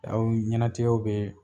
Aw ɲɛnatigɛw bee